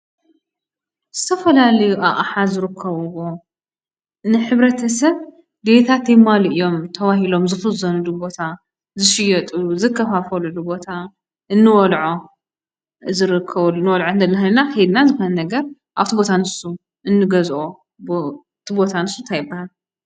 ዝተፈላለዩ ኣቕሓ ዝርከብዎ ንሕብረተሰብ ድልየታት የማልኡ እዮም ተባሂሎም ዝኽዘንሉ ቦታ፣ ዝሽየጡሉ፣ ዝከፋፈልሉ ቦታ ፣ እንበልዖ ዝርከበሉ እንበልዕሉ ኾይንና ከይድና ዝኾነ ነገር ኣብ እቲ ቦታ ንሱ እንገዝኦ እቲ ቦታ ንሱ እንታይ ይባሃል?